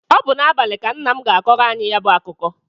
Ọ bụ n'abalị ka nna m ga-akọrọ anyị ya bụ akụkọ.